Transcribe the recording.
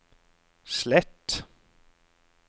slett